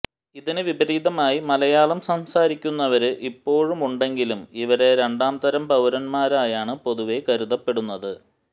ഇതിനു വിപരീതമായി മലയാളം സംസാരിക്കുന്നവര് ഇപ്പോഴുമുണ്ടെങ്കിലും ഇവരെ രണ്ടാംതരം പൌരന്മാരായാണ് പൊതുവെ കരുതപ്പെടുന്നത്